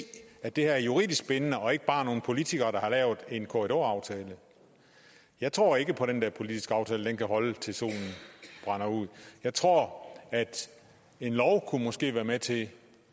at det her er juridisk bindende og ikke bare nogle politikere der har lavet en korridoraftale jeg tror ikke på at den politiske aftale kan holde til solen brænder ud jeg tror at en lov måske kunne være med til